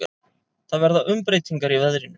Það verða umbreytingar í veðrinu.